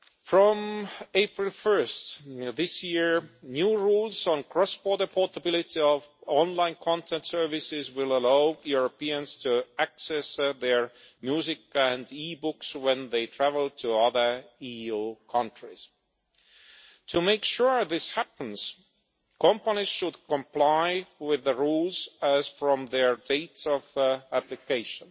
From 1 April this year, new rules on the cross border portability of online content services will allow Europeans to access their music and e books when they travel to other EU countries. To make sure this happens, companies should comply with the rules as from their dates of application.